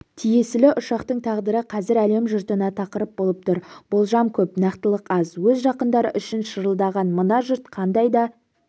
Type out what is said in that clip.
тиесілі ұшақтың тағдыры қазір әлем жұртына тақырып болып тұр болжам көп нақтылық аз өз жақындары үшін шырылдаған мына жұрт қандай да